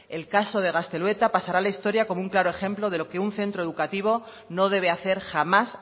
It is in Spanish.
el caso de gaztelueta pasará a la historia como un claro ejemplo de lo que un centro educativo no debe hacer jamás